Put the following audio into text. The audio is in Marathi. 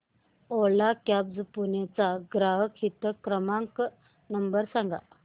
ओला कॅब्झ पुणे चा ग्राहक हित क्रमांक नंबर सांगा